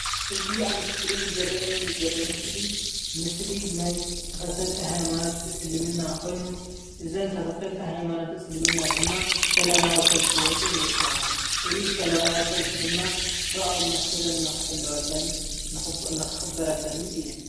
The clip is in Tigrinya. እዚ ኣብ እስክሪን ዝረአየኒ ዘሎ ምስሊ ምስሊ ናይ ተከተልቲ ሃይማኖት እስልምና ኮይኑ እዘን ተከተልቲ ሃይማኖት እስልምና ድማ ሰለማዊ ሰልፊ ወፂእን ይርከባ፡፡ እዚ ሰላማዊ ሰልፊ ድማ ሰብኣዊ መሰልን ንክሕለወለንን ንክክበረለንን እየን፡፡